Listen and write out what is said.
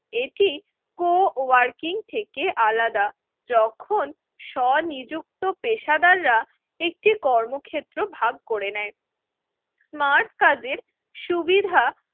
এটি কো-ওয়ার্কিং থেকে আলাদা যখন স্বনিযুক্ত পেশাদাররা একটি কর্মক্ষেত্র ভাগ করে নেয়। স্মার্ট কার্ডের সুবিধা